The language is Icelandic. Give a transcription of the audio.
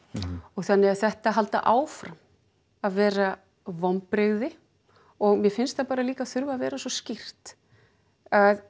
þannig þetta halda áfram að vera vonbrigði og mér finnst það líka þurfa vera svo skýrt að